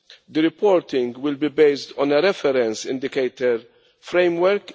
The reporting will be based on a reference indicator framework.